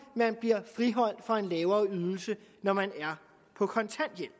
man bliver friholdt fra en lavere ydelse når man er på kontanthjælp